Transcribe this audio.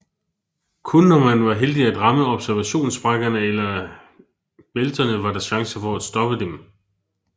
Kun når man var heldig at ramme observationssprækkerne eller eller bælterne var der chance for at stoppe dem